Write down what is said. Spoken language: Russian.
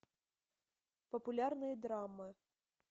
популярные драмы